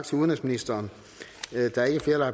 som minister